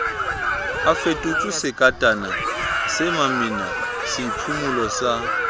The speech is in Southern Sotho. a fetotswesekatana semamina seiphumolo sa